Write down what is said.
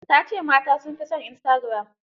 Ta ce mata sun fi son istagiram.